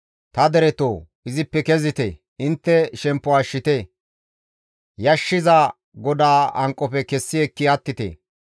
Ta deretoo! Izippe kezite; intte shemppo ashshite; yashshiza GODAA hanqofe kessi ekki attite.